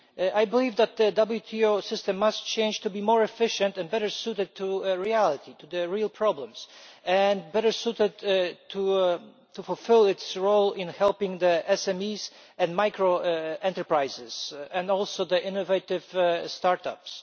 I believe that the WTO system must change to be more efficient and better suited to reality to the real problems and better suited to fulfil its role in helping SMEs and micro enterprises and also innovative start ups.